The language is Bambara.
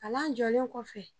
Kalan jɔlen kɔfɛ